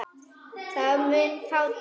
Það mun fátítt.